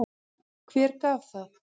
Hver gaf það?